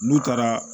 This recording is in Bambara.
N'u taara